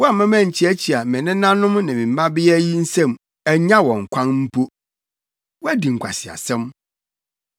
Woamma mankyiakyia me nenanom ne me mmabea yi nsam annya wɔn kwan mpo. Woadi nkwaseasɛm.